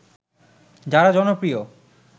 যারা জনপ্রিয়